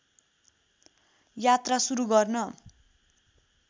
यात्रा सुरु गर्न